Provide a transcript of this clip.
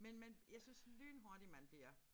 Men man jeg synes lynhurtigt man bliver